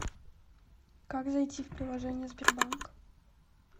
как зайти в приложение сбербанк